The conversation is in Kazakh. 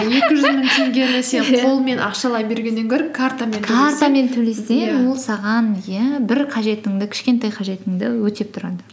екі жүз мың теңгені сен қолыңмен ақшалай бергеннен гөрі картамен төлесең ол саған иә бір қажетіңді кішкентай қажетіңді өтеп тұрады